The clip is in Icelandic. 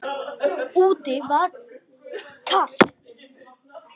Úti var kalt.